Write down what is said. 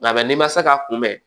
Nka n'i ma se ka kunbɛn